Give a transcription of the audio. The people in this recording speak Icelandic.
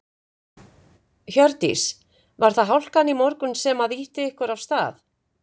Hjördís: Var það hálkan í morgun sem að ýtti ykkur af stað?